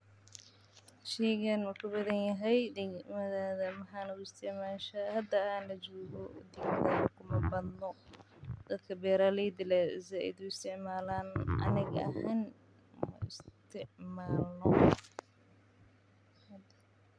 Sheygan maku badan yahay dagmadadha dadka beeraleyda aya said u istimalo aniga aahn ma isticmalo.